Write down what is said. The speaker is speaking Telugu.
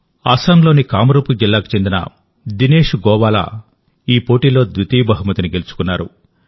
అస్సాంలోని కామరూప్ జిల్లాకు చెందిన దినేష్ గోవాలా ఈ పోటీలో ద్వితీయ బహుమతిని గెలుచుకున్నారు